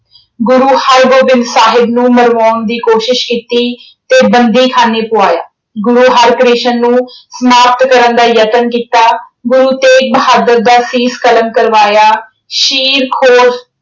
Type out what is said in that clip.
ਗੁਰੂ ਹਰਗੋਬਿੰਦ ਸਾਹਿਬ ਨੂੰ ਮਰਵਾਉਣ ਦੀ ਕੋਸਿਸ਼ ਕੀਤੀ ਤੇ ਬੰਦੀਖਾਨੇ ਪੁਆਇਆ। ਗੁਰੂ ਹਰਕ੍ਰਿਸ਼ਨ ਨੂੰ ਸਮਾਪਤ ਕਰਨ ਦਾ ਯਤਨ ਕੀਤਾ। ਗੁਰੂ ਤੇਗ ਬਹਾਦੁਰ ਦਾ ਸੀਸ ਕਲਮ ਕਰਵਾਇਆ। ਸ਼ੀਰਖੋਰ